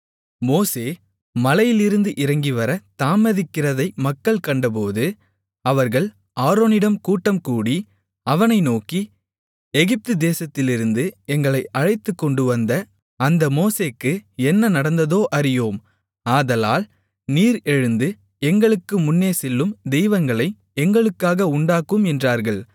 மோசே மலையிலிருந்து இறங்கிவரத் தாமதிக்கிறதை மக்கள் கண்டபோது அவர்கள் ஆரோனிடம் கூட்டம்கூடி அவனை நோக்கி எகிப்துதேசத்திலிருந்து எங்களை அழைத்துக்கொண்டு வந்த அந்த மோசேக்கு என்ன நடந்ததோ அறியோம் ஆதலால் நீர் எழுந்து எங்களுக்கு முன்னேசெல்லும் தெய்வங்களை எங்களுக்காக உண்டாக்கும் என்றார்கள்